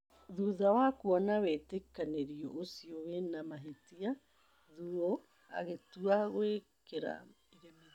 Thutha wa kuona wĩtĩkanĩrio ũcio wĩna mahĩtia, Thuo agĩtua gwĩkĩra iremithia.